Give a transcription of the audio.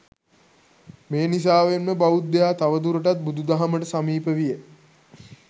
මේ නිසාවෙන්ම බෞද්ධයා තවදුරටත් බුදු දහමට සමීප විය.